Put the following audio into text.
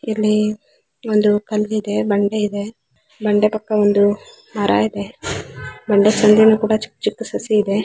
ಇಲ್ಲಿ ಒಂದು ಕಲ್ಲ್ ಇದೆ ಬಂಡೆ ಇದೆ ಬಂಡೆ ಪಕ್ಕ ಒಂದು ಮರ ಇದೆ ಬಂಡೆ ಸಂದಿಯಲ್ಲಿ ಕೂಡಾ ಚಿಕ್ಕ್ ಚಿಕ್ಕ್ ಸಸಿ ಇದೆ.